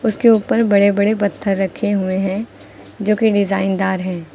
उसके ऊपर बड़े बड़े बत्थर रखे हुए हैं जो कि डिजाइन दार है।